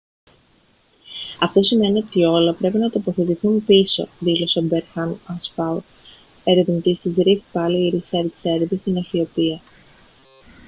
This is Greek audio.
«αυτό σημαίνει ότι όλα πρέπει να τοποθετηθούν πίσω» δήλωσε ο berhane asfaw ερευνητής της rift valley research service στην αιθιοπία